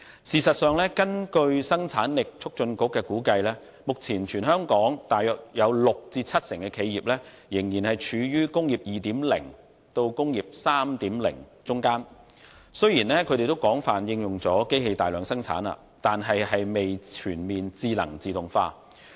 事實上，根據香港生產力促進局估計，目前香港大約有六成至七成企業仍然處於"工業 2.0" 和"工業 3.0" 之間，即是雖然已經廣泛應用機器大量生產，但未全面智能自動化。